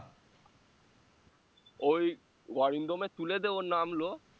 ওই অরিন্দম এর তুলে দিয়ে ও নামলো